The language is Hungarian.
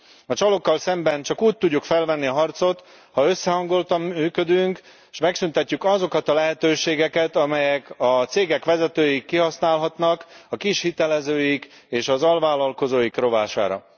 A csalókkal szemben csak úgy tudjuk felvenni a harcot, ha összehangoltan működünk és megszüntetjük azokat a lehetőségeket, amelyeket a cégek vezetői kihasználhatnak a kis hitelezőik és az alvállalkozóik rovására.